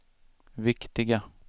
viktiga